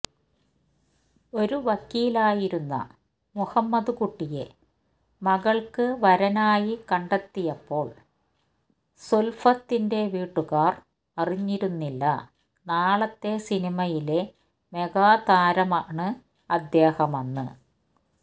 ഒരു വക്കീലായിരുന്ന മുഹമ്മദ് കുട്ടിയെ മകള്ക്ക് വരനായി കണ്ടെത്തിയപ്പോള് സുല്ഫത്തിന്റെ വീട്ടുകാര് അറിഞ്ഞിരുന്നില്ല നാളത്തെ സിനിമയിലെ മെഗാതാരമാണ് അദ്ദേഹമെന്ന്